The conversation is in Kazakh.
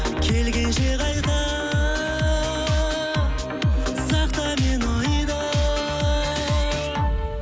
келгенше қайта сақта мені ойда